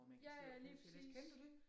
Ja ja lige præcis